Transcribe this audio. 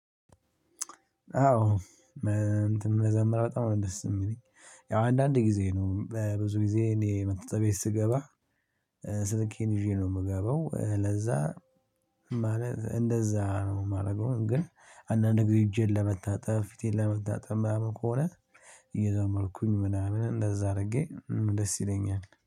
አዎ እንትን መዘምር በጣም ነው ደስ የሚለኝ። ያው አንዳንድ ጊዜ ነው በብዙ ጊዜ እኔ መታጠቢያ ቤት ስገባ ስልኬን ይዤ ነው የምገባው። ለዛ ማለት እንደዛ ነው የማደርገው ግን አንዳንዴ እጄን ለመታጠብ፣ ፊቴን ለመታጠብ ምናምን ከሆነ እየዘመርኩኝ ምናምን እንደዛ አድርጌ ደስ ይለኛል።